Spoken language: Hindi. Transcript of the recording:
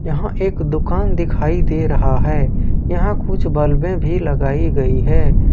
यहां एक दुकान दिखाई दे रहा है यहां कुछ बल्बें भी लगाई गई है।